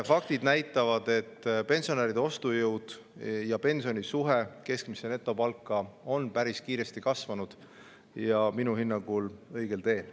Faktid näitavad, et pensionäride ostujõud ja pensioni suhe keskmisesse netopalka on päris kiiresti kasvanud, ja minu hinnangul on see õigel teel.